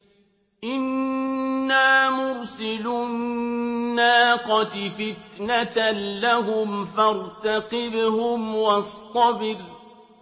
إِنَّا مُرْسِلُو النَّاقَةِ فِتْنَةً لَّهُمْ فَارْتَقِبْهُمْ وَاصْطَبِرْ